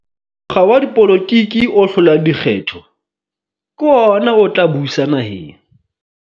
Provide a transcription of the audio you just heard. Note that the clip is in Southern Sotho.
mokga wa dipolotiki o hlolang dikgetho ke ona o tla busa naheng.